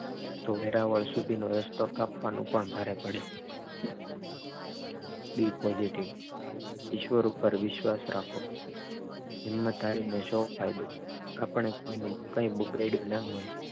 વેરાવળ સુધીનો રસ્તો કાપવા નો પણ ભારે પડે બી પોઝીટીવ ઈશ્વર પર વિશ્વાસ રાખો હિંમત હારીને પણ શું ફાયદો આપણે કોઈનું કઈ બગાડયું ન હોય